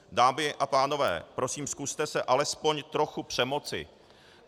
Dámy a pánové, prosím, zkuste se alespoň trochu přemoci.